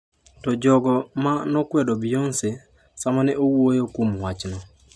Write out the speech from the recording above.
To jogo ma nokwedo Beyoncé sama ne owuoyo kuom wachno.